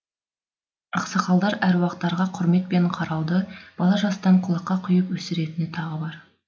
ақсақалдар әруақтарға құрметпен қарауды бала жастан құлаққа құйып өсіретіні тағы бар